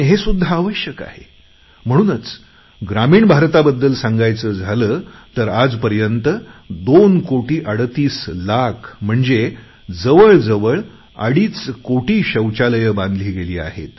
हे सुद्धा आवश्यक आहे आणि म्हणूनच ग्रामीण भारताबद्दल सांगायचे झाले तर आजपर्यंत दोन कोटी अडतीस लाख म्हणजे जवळ जवळ अडीच कोटी शौचालये बांधली गेली आहेत